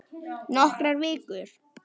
Nokkrar vikur!